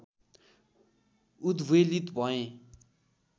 उद्वेलित भएँ